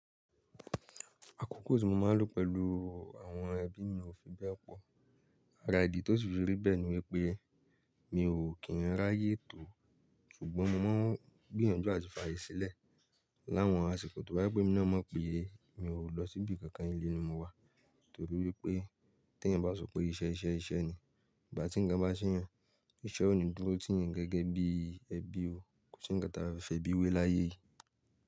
Àkókò tí mo máa ń lò pẹ̀lú àwọn ẹbí mi ò fi bẹ́ẹ̀ pọ̀. Àrá ìdí tó si fi rí bẹ́ẹ̀ ni wípé mi ò kí ń ráyè tò, ṣùgbọ́n mo máa ń gbìyànjú àti fààyè sílẹ̀. Láwọn àsìkò tó bá jé pé ení na mopè é, mi ò lọ síbí kankan, ilé ni mo wà. Nítorí wípé tí ẹ̀yan bá sọ pé iṣẹ́ iṣẹ́ iṣẹ́ ni, ìgbà tí ǹnkan bá ṣé eyàn, iṣẹ́ ò ní dúró tì eyan gẹ́gẹ́ bí ẹbí ó. Kò sí nǹkan tí a fe fi ẹbí wé láyé yi.